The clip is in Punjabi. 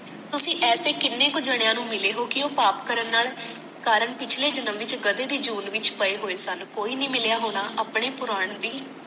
ਤੁਸੀ ਇਹੋਜੇ ਕੀਨੇ ਕੁ ਜਣਿਆਂ ਨੂੰ ਮਿਲੇ ਹੋ ਕਿ ਉਹ ਪਾਪ ਕਰਨ ਨਾਲ ਕਾਰਨ ਪਿਛਲੇ ਜਨਮ ਵਿੱਚ ਗਧੇ ਦੀ ਜੂਨ ਵਿੱਚ ਪਏ ਹੋਏ ਸਨ ਕੋਈ ਨਹੀਂ ਮਿਲਿਆ ਹੋਣਾ ਆਪਣੇ ਪੂਰਾਨ ਦੀ